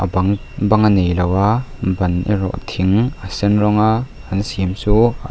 bang bang a neilo a ban erawh thing a sen rawnga an siam chu--